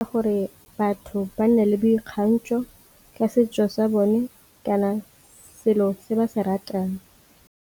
Gore batho ba nne le boikgantsho ka setso sa bone kana selo se ba se ratang.